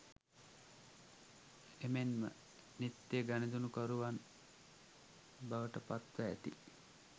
එමෙන්ම නිත්‍ය ගනුදෙනුකරුවන් බවට පත්ව ඇති